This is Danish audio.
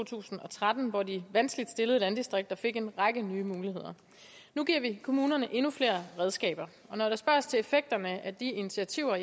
tusind og tretten hvor de vanskeligt stillede landdistrikter fik en række nye muligheder nu giver vi kommunerne endnu flere redskaber når der spørges til effekterne af de initiativer